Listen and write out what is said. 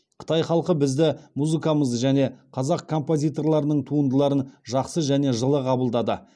қытай халқы бізді музыкамызды және қазақ композиторларының туындыларын жақсы және жылы қабылдады